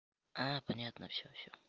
а понятно всё всё